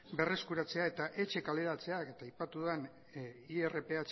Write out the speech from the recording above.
berreskuratzea eta etxe kaleratzeak eta aipatu den irph